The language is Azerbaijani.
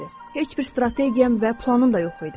Heç bir strategiyam və planım da yox idi.